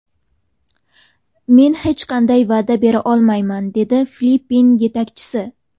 Men hech qanday va’da bera olmayman”, dedi Filippin yetakchisi.